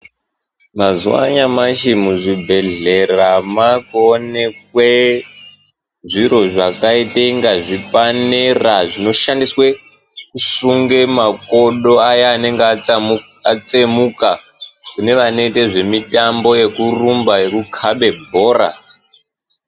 Mazuwa anyamashi muzvibhehlera makuonekwe zviro zvakaitenge zvipanera zvinoshandiswe kusunge makodo aya anengetsemuka kune vanoite zvemitambo yekurumba yekukabe bhora.